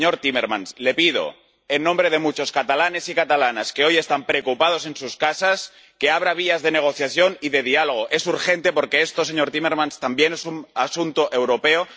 Señor Timmermans, le pido en nombre de muchos catalanes y catalanas que hoy están preocupados en sus casas que abra vías de negociación y de diálogo. Es urgente, porque esto, señor Timmermans, también es un asunto europeo.